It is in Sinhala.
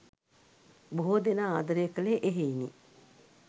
බොහෝ දෙනා ආදරය කළේ එහෙයිනි.